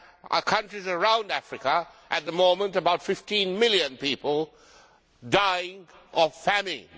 In countries around Africa we have, at the moment, about 15 million people dying of famine